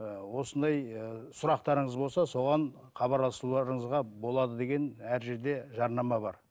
ы осындай ы сұрақтарыңыз болса соған хабарласуыңызға болады деген әр жерде жарнама бар